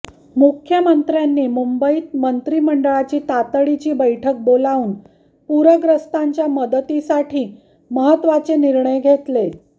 मुख्यमंत्र्यांनी मुंबईत मंत्रिमंडळाची तातडीची बैठक बोलावून पूरग्रस्तांच्या मदतीसाठी महत्त्वाचे निर्णय घेतले